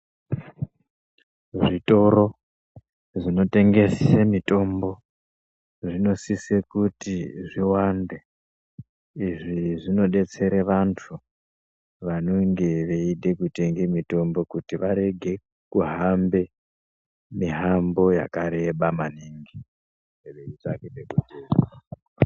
Zvitoro zvinotengese mitombo zvinosise kuti zviwande. Izvi zvinodetsere vantu vanenge veide kutenge mitombo kuti varege kuhambe mihambo yakareba maningi veitsvake pekutenga